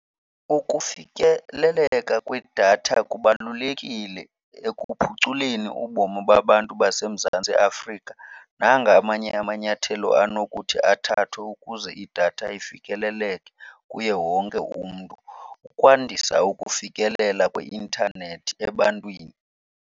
Ukufikeleleka kwedatha kubalulekile ekuphuculeni ubomi babantu baseMzantsi Afrika. Nanga amanye amanyathelo anokuthi athathwe ukuze idatha ifikeleleke kuye wonke umntu ukwandisa ukufikelela kwi-intanethi ebantwini.